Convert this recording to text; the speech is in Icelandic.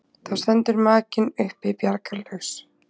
Þá stendur makinn uppi bjargarlaus.